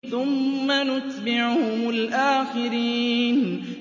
ثُمَّ نُتْبِعُهُمُ الْآخِرِينَ